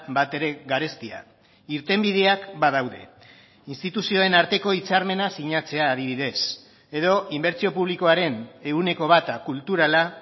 batere garestia irtenbideak badaude instituzioen arteko hitzarmena sinatzea adibidez edo inbertsio publikoaren ehuneko bata kulturala